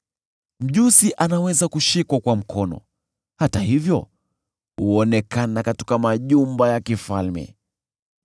Mjusi anaweza kushikwa kwa mkono, hata hivyo huonekana katika majumba ya kifalme.